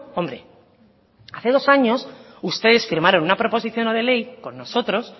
hombre hace dos años ustedes firmaron una proposición no de ley con nosotros